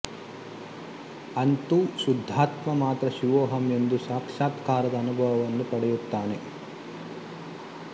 ಅಂತೂ ಶುದ್ಧಾತ್ಮ ಮಾತ್ರ ಶಿವೋಹಂ ಎಂದು ಸಾಕ್ಷಾತ್ಕಾರದ ಅನುಭವವನ್ನು ಪಡೆಯುತ್ತಾನೆ